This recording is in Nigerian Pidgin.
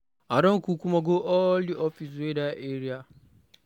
I don kukuma go all the office wey dey dat area.